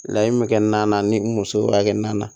Layi be kɛ nan ni muso hakɛ na